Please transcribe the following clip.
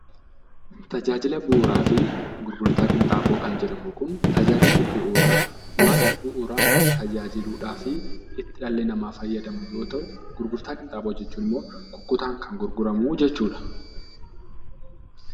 Tajaajila bu'uuraa fi gurgurtaa qinxaaboo kan jedhamu kun tajaajilli bu'uuraa wanta bu'uuraan itti tajaajilamuudhaaf dhalli namaa fayyadamuu yoo ta'u, gurgurtaa qinxaaboo jechuun immoo kukkutaan kan gurguramu jechuudha.